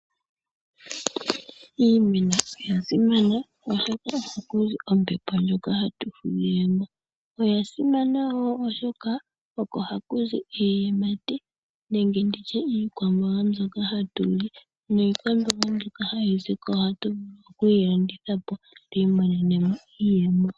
Iimeno oyasimana oshoka oko hakuzi ombepo ndjoka hatu fudhilemo . Oyasimana woo oshoka oko hakuzi iiyimati nenge iikwamboga mbyoka hatuli ,niikwamboga mbyoka hayiziko ohatu vulu oku yi landithapo tu imonenemo iiyemo.